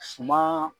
Suma